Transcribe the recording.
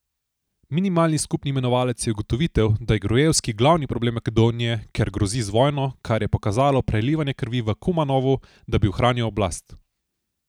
Minimalni skupni imenovalec je ugotovitev, da je Gruevski glavni problem Makedonije, ker grozi z vojno, kar je pokazalo prelivanje krvi v Kumanovu, da bi ohranil oblast.